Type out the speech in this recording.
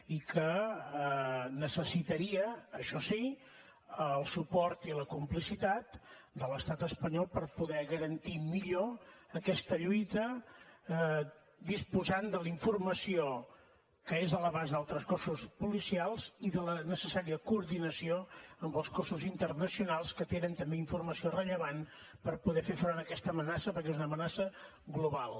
i que necessitaria això sí el suport i la complicitat de l’estat espanyol per poder garantir millor aquesta lluita disposant de la informació que és a l’abast d’altres cossos policials i de la necessària coordinació amb els cossos internacionals que tenen també informació rellevant per poder fer front a aquesta amenaça perquè és una amenaça global